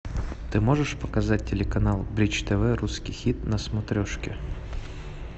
ты можешь показать телеканал бридж тв русский хит на смотрешке